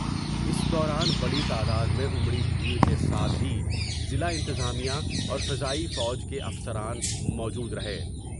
اس دوران بڑی تعداد میں امری بھیٹر کے ساتھ ہی ضلع انتظامیہ اورفضائی فوج کے افسران موجودر ہے ۔